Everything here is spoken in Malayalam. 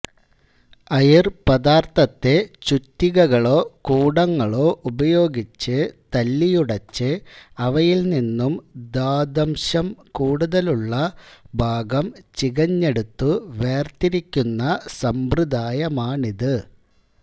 അയിർ പദാർഥത്തെ ചുറ്റികകളോ കൂടങ്ങളോ ഉപയോഗിച്ച് തല്ലിയുടച്ച് അവയിൽ നിന്നും ധാത്വംശം കൂടുതലുള്ള ഭാഗം ചികഞ്ഞെടുത്തു വേർതിരിക്കുന്ന സമ്പ്രദായമാണിത്